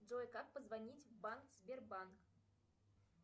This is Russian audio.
джой как позвонить в банк сбербанк